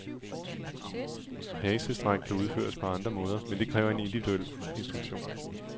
Hasestræk kan udføres på andre måder, men det kræver en individuel instruktion.